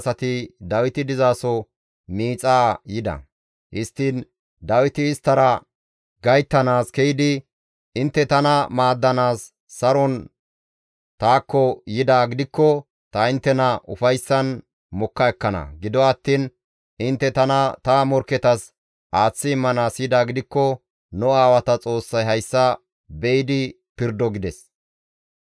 Histtiin Dawiti isttara gayttana ke7idi, «Intte tana maaddanaas saron taakko yidaa gidikko ta inttena ufayssan mokka ekkana; gido attiin intte tana ta morkketas aaththi immanaas yidaa gidikko nu aawata Xoossay hayssa be7idi pirdo!» gides.